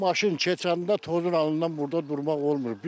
Maşın keçəndə tozun ağlından burda durmaq olmur.